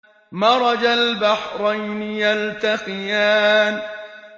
مَرَجَ الْبَحْرَيْنِ يَلْتَقِيَانِ